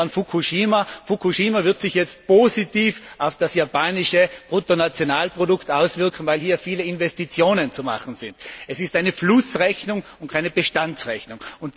Denken wir an Fukushima. Fukushima wird sich jetzt positiv auf das japanische Bruttonationalprodukt auswirken, weil hier viele Investitionen zu tätigen sind. Es ist eine Flussrechnung und keine Bestandsrechnung.